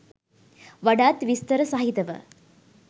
වඩාත් විස්තර සහිතව